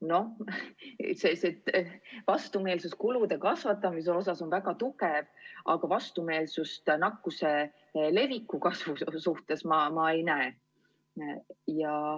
Noh, vastumeelsus kulude kasvatamise vastu on väga tugev, aga vastumeelsust nakkuse leviku kasvu vastu ma ei näe.